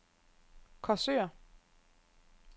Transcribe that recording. Korsør